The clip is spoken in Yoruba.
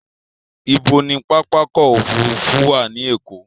Ibo ni pápákọ̀ òfurufú wà ní Èkó?